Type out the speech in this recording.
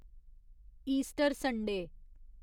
Easter Sunday